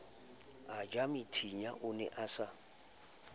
ejamethinya o ne a sa